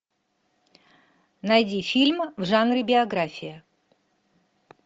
найди фильм в жанре биография